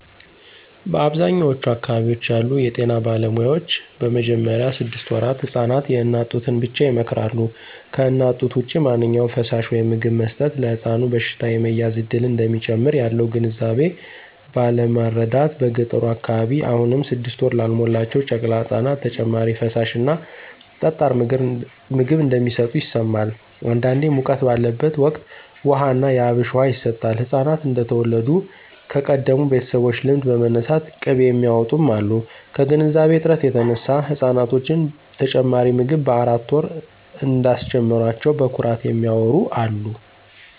በአብዛኛዎቹ አካባቢዎች ያሉ የጤና ባለሙያዎች በመጀመሪያ ስድስት ወራት ህፃናት የእናት ጡትን ብቻ ይመክራሉ። ከእናት ጡት ውጭ ማንኛውም ፈሳሽ/ምግብ መስጠት ለሕፃኑ በሽታ የመያዝ እድልን እንደሚጨምር ያለው ግንዛቤ ባለማረዳት በገጠሩ አካባቢ አሁንም ስድስት ወር ላልሞላቸው ጨቅላ ህፃናት ተጨማሪ ፈሳሽ እና ጠጣር ምግብ እንደሚሰጡ ይሰማል። አንዳንዴ ሙቀት ባለበት ወቅት ውሃ ና የአብሽ ውሃ ይሰጣል፣ ህፃናት እንደተወለዱ ከቀደሙ ቤተሰቦች ልምድ በመነሳት ቅቤ የሚያውጡም አሉ። ከግንዛቤ እጥረት የተነሳ ህፃናቶችን ተጨማሪ ምግብ በአራት ወር እንዳስጀመሯቸው በኩራት የሚያዎሩ አሉ።